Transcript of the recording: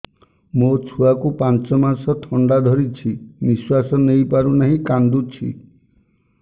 ମୋ ଛୁଆକୁ ପାଞ୍ଚ ମାସ ଥଣ୍ଡା ଧରିଛି ନିଶ୍ୱାସ ନେଇ ପାରୁ ନାହିଁ କାଂଦୁଛି